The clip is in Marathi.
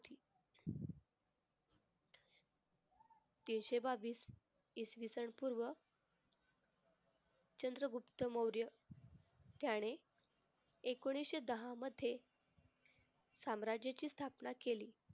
तीनशे बावीस इसवीसन पूर्व चंद्रगुप्त मौर्य त्याने एकोणीसशे दहामध्ये साम्राज्याची स्थापना केली.